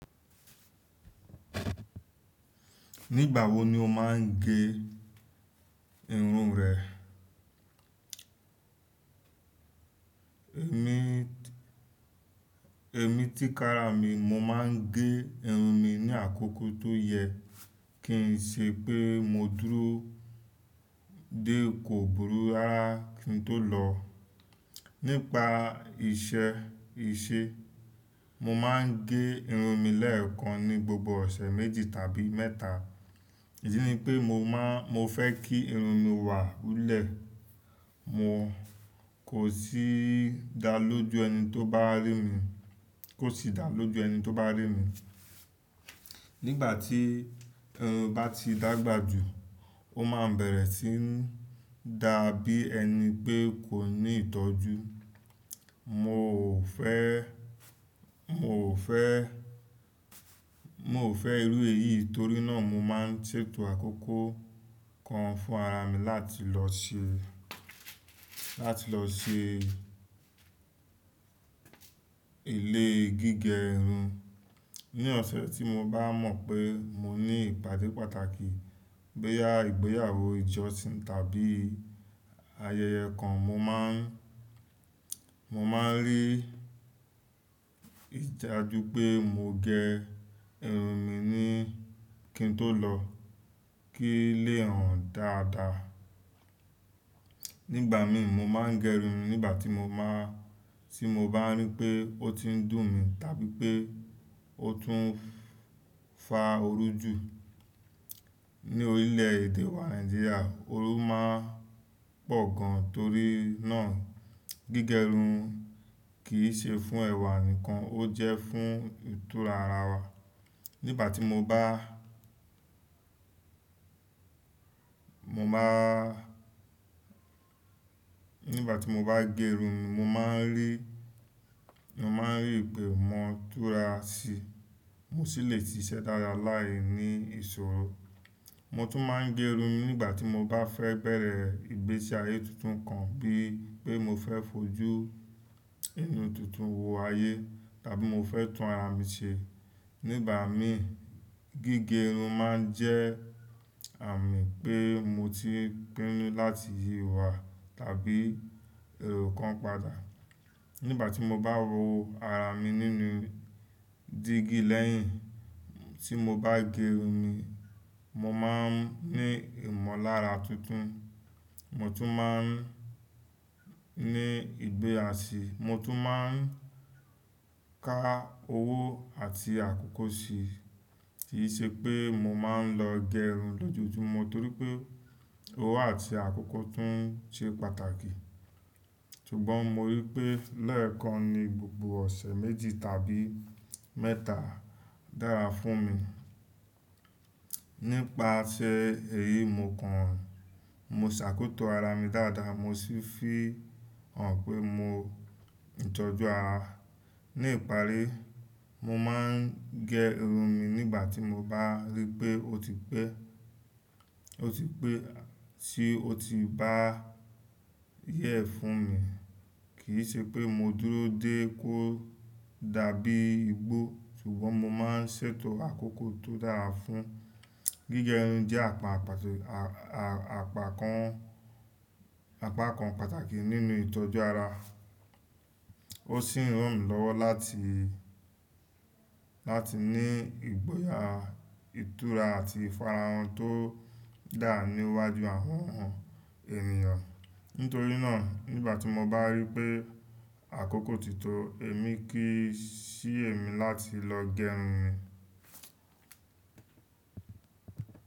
Nígbà wo ni o máa ń gẹ irun rẹ? Ni emi tikara mi, mo maa n ge irun mi ni akoko to ye, kin se pe mo duro. Dé ko burú rárá kí n tó lọ. Nípa iṣẹ́ ìṣe, mo máa ń gẹ irun mi lẹ́ẹ̀kan ní gbogbo ọ̀sẹ̀ méjì tàbí mẹ́ta. Èyí ni pé mo máa, mo fẹ́ kí irun mi wà lulẹ̀, mo kò sì dá lójú ẹni tó bá rí mi, kò sì dá lójú ẹni tó bá rí mi. Nígbà tí irun bá ti dàgbà jù, ó máa bẹ̀rẹ̀ sí ń dà bí ẹni pé kò ní ìtọ́jú. Mo ò fẹ́, mo ò fẹ́, mo ò fẹ́ irú èyí torí náà mo máa ń ṣètò àkókò kan fún ara mi láti lọ ṣe, láti lọ ṣe elée gígẹ irun. Ni ọ̀sẹ̀ tí mo bá mọ̀ pé mo ní ìpàdé pàtàkì, báyá ìgbéyàwó ìjọsìn tàbí ayẹyẹ kan mo má ń, mo máa ń rí i dá ju pé mo gẹ irun mi ni kí n tó lọ, kí lè hàn dáadáa. Nígbà mi mo máa ń gẹ irun nígbà tí mo máa, tí mo bá rí pé ó ti ń dùn mi tàbí pé ó tún fa òru jù. Ní orílẹ̀ èdè wa Nàìjíríà, òru máa ń pọ̀ gan torí náà gígẹ irun kì í ṣe fún ẹ̀wà nìkan, ó jẹ́ fún ìtura ara wa. Nígbà tí mo bá, mo máa, nígbà tí mo bá gẹ irun mi mo máa ń rí, mo máa ń rí pé mo tura síi, mo sì le ti iṣẹ́ dára láìní ìṣòro. Mo tún máa ń gẹ irun nígbà tí mo bá fẹ́ bẹ̀rẹ̀ ìgbésí ayé tuntun kan bí i pé mo fẹ́ fojú inú tuntun wò ayé tàbí mo fẹ́ tún ara mi ṣe. Nígbà mi, gígẹ irun máa ń jẹ́ àmì pé mo ti pinnu láti yí ìwà tàbí èrò kan padà. Nígbà tí mo bá wo ara mi nínú dígí lẹ́yìn tí mo bá gẹ irun mi, mo máa ń ní ìmọ̀lára tuntun. Mo tún máa ń ní ìgbé àṣẹ, mo tún máa ń ka owó àti àkókò si. Kì í ṣe pé mo máa ń lọ gẹ irun lójoojúmọ́ torí pé owó àti àkókò tún ṣe pàtàkì. Sugbon mo ri pe, leekan ni gbogbo ose. Nípaṣẹ èyí mo kan, mo ṣàkotọ ara mi dáadáa mo sì fi hàn pé mo ń ìtọ́jú ara. Ní ìparí, mo máa ń gẹ irun mi nígbà tí mo bá rí pé ó ti pé, ó ti pé, tí ó ti bá yẹ́ fún mi. Kì í ṣe pé mo dúró dé kó dàbí igbó, ṣùgbọ́n mo máa ń ṣètò àkókò tó dára fún. Gígẹ irun jẹ́ àpá, àpá kan, àpá kan pàtàkì nínú ìtọ́jú ara. Ó sì ń ràn mí lọ́wọ́ láti, láti ní ìgboyà, ìtura àti ìfara wọn tó dára níwájú àwọn ènìyàn. Nítorí náà nígbà tí mo bá rí pé àkókò tí tó, èmi kì í ṣìyè mí láti lọ gẹ irun mi.